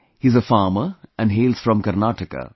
He is a farmer and hails from Karnataka